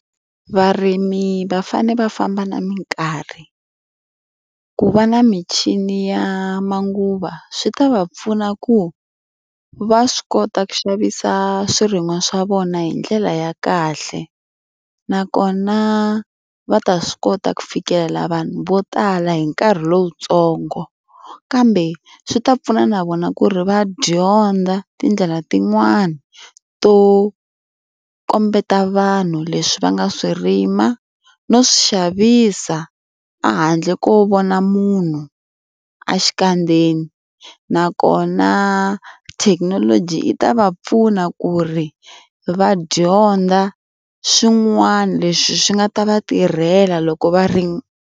Varimi va fanele va famba na minkarhi. Ku va na michini ya manguva swi ta va pfuna ku va swi kota ku xavisa swirin'wa swa vona hi ndlela ya kahle. Nakona va ta swi kota ku fikelela vanhu vo tala hi nkarhi lowuntsongo. Kambe swi ta pfuna na vona ku ri va dyondza tindlela tin'wani to kombeta vanhu leswi va nga swi rima no swi xavisa a handle ko vona munhu exikandzeni. Nakona thekinoloji yi ta va pfuna ku ri va dyondza swin'wana leswi swi nga ta va tirhela loko va ri.